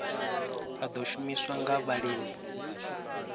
a ḓo shumiswa nga vhalimi